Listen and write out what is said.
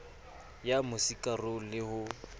ya mo sikarong le ho